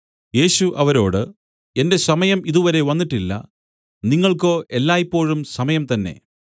യേശു അവരോട് എന്റെ സമയം ഇതുവരെ വന്നിട്ടില്ല നിങ്ങൾക്കോ എല്ലായ്പോഴും സമയം തന്നേ